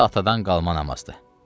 Bu da atadan qalma namazdır.